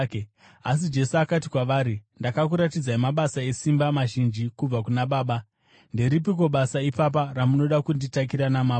asi Jesu akati kwavari, “Ndakakuratidzai mabasa esimba mazhinji kubva kuna Baba. Nderipiko basa ipapa ramunoda kunditakira namabwe?”